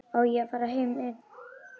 Á ég að fara einn?